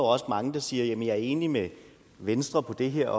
også mange der siger at jamen jeg er enig med venstre på det her